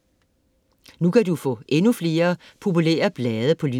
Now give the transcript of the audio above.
Nu kan du få endnu flere populære blade på lyd